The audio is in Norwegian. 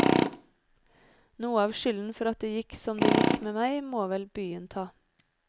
Noe av skylden for at det gikk som det gikk med meg, må vel byen ta.